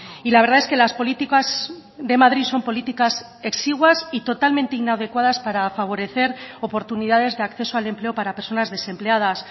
y la verdad es que las políticas de madrid son políticas exiguas y totalmente inadecuadas para favorecer oportunidades de acceso al empleo para personas desempleadas